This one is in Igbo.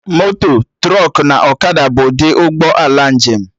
Moto, trọkụ na ọkada bụ ụdị ụgbọ ala njem